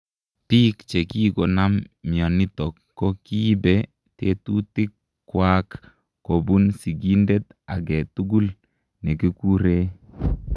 Piik chekikonaam mianitok ko kiibee tetutik kwaak kobun sigindet agee tugul ,nekikuree